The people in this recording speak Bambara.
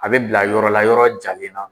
A bɛ bila yɔrɔ la yɔrɔ jalen na